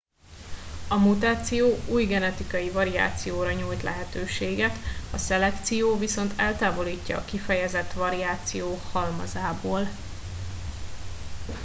a mutáció új genetikai variációra nyújt lehetőséget a szelekció viszont eltávolítja a kifejezett variáció halmazából